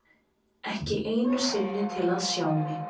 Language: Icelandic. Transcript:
Ekki einu sinni til að sjá mig.